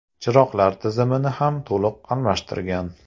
Chiroqlar tizimini ham to‘liq almashtirgan.